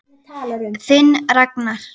Þinn Ragnar.